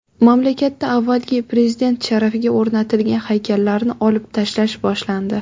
Mamlakatda avvalgi prezident sharafiga o‘rnatilgan haykallarni olib tashlash boshlandi.